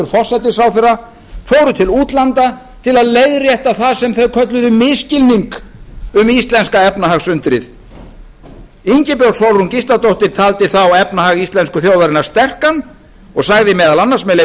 forsætisráðherra fóru til útlanda til að leiðrétta það sem þeir kölluðu misskilning um íslenska efnahagsundrið ingibjörg sólrún gísladóttir taldi þá efnahag íslensku þjóðarinnar sterkan og sagði meðal annars með leyfi